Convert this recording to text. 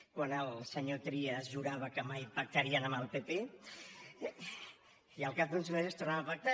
quan el senyor trias jurava que mai pactarien amb el pp i al cap d’uns mesos tornaven a pactar